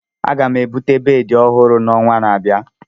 Aga m ebute bedị ọhụrụ n'ọnwa na-abịa.